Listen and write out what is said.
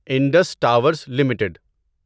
Indus Towers limited